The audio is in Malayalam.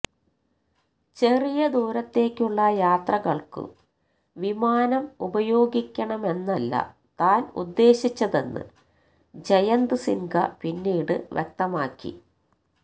ചെറിയ ദൂരത്തേക്കുള്ള യാത്രകള്ക്കു വിമാനം ഉപയോഗിക്കണമെന്നല്ല താന് ഉദ്ദേശിച്ചതെന്ന് ജയന്ത് സിന്ഹ പിന്നീട് വ്യക്തമാക്കി